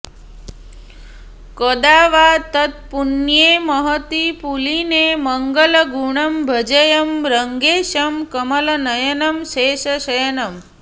कदा वा तत्पुण्ये महति पुलिने मङ्गलगुणं भजेयं रङ्गेशं कमलनयनं शेषशयनम्